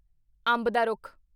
ਅੰਬ ਦਾ ਰੁੱਖ